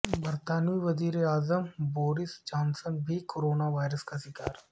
برطانوی وزیر اعظم بورس جانسن بھی کرونا وائرس کا شکار